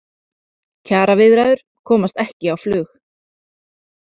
Kjaraviðræður komast ekki á flug